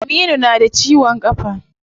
Aminu na da ciwon kafa.